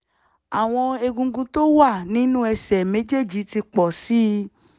àwọn egungun tó wà nínú ẹsẹ̀ méjèèjì ti pọ̀ sí i